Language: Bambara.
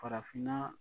Farafinna